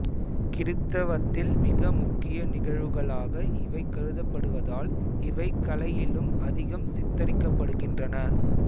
கிறித்தவத்தில் மிக முக்கிய நிகழ்வுகளாக இவை கருதப்படுவதால் இவை கலையிலும் அதிகம் சித்தரிக்கப்படுகின்றன